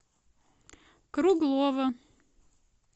круглова